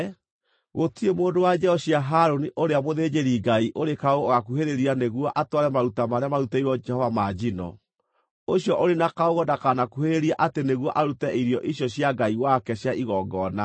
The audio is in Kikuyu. Gũtirĩ mũndũ wa njiaro cia Harũni ũrĩa mũthĩnjĩri-Ngai ũrĩ kaũũgũ ũgaakuhĩrĩria nĩguo atware maruta marĩa marutĩirwo Jehova ma njino. Ũcio ũrĩ na kaũũgũ ndakanakuhĩrĩrie atĩ nĩguo arute irio icio cia Ngai wake cia igongona.